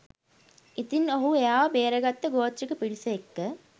ඉතින් ඔහු එයාව බේරගත්ත ගෝත්‍රික පිරිස එක්ක